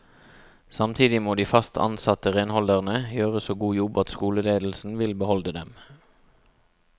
Samtidig må de fast ansatte renholderne gjøre så god jobb at skoleledelsen vil beholde dem.